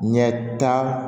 Ɲɛta